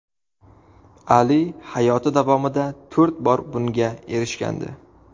Ali hayoti davomida to‘rt bor bunga erishgandi.